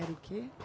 Era o quê?